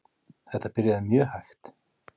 Þetta byrjaði mjög hægt.